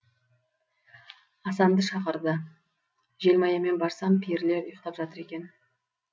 асанды шақырды желмаямен барсам перілер ұйықтап жатыр екен